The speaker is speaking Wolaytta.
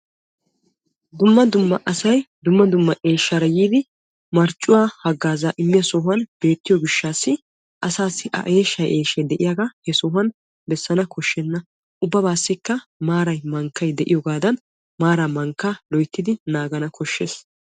Dumma dumma asayi dumma dumma eeshshaara yiidi marccuwa haggaaza immiyosan beettiyo gishataassi asaassi a eeshshayi eeshayi diyaaga he sohan bessana koshenna ubbabaassi maarayi mankkayi des maara mankkaa nagana besses.